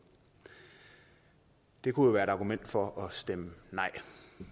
det kunne jo være et argument for at stemme nej